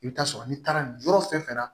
I bɛ taa sɔrɔ n'i taara nin yɔrɔ fɛn fɛn na